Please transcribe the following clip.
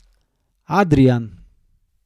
Adrijan.